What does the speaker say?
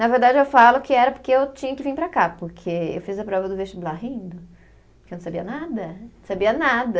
Na verdade eu falo que era porque eu tinha que vir para cá, porque eu fiz a prova do vestibular rindo, porque eu não sabia nada, sabia nada.